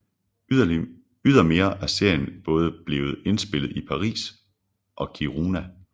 Ydermere er serien både blevet indspillet i Paris og Kiruna